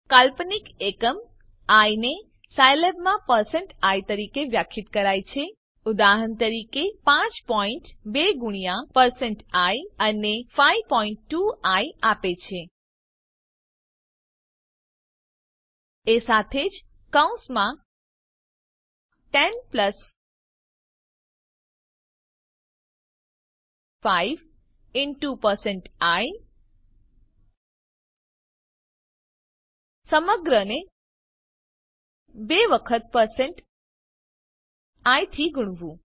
કાલ્પનિક એકમ આઇ ને સાયલેબમાં પરસેન્ટ i તરીકે વ્યાખ્યાયિત કરાય છે ઉદાહરણ તરીકે પાંચ પોઈન્ટ બે ગુણ્યા પરસેન્ટ આઇ એ 52આઇ આપે છે એ સાથે જ કૌસમાં 10 પ્લસ 5 ઇનટુ પરસેન્ટ આઇ સમગ્રને 2 વખત પરસેન્ટ આઇ થી ગુણવું